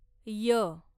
य